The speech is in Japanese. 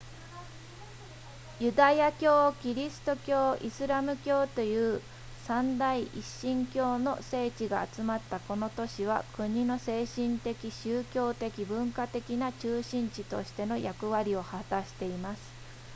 ユダヤ教キリスト教イスラム教という三大一神教の聖地が集まったこの都市は国の精神的宗教的文化的な中心地としての役割を果たしています